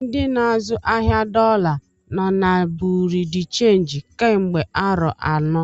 Ndị n'azụ ahịa dọla nọ na Bureau de change kemgbe arọ anọ.